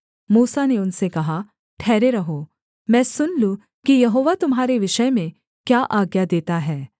मूसा ने उनसे कहा ठहरे रहो मैं सुन लूँ कि यहोवा तुम्हारे विषय में क्या आज्ञा देता है